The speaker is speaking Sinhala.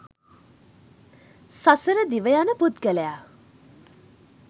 සසර දිව යන පුද්ගලයා